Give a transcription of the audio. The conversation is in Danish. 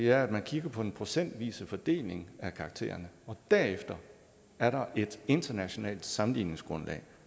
er at man kigger på den procentvise fordeling af karaktererne og derefter er der et internationalt sammenligningsgrundlag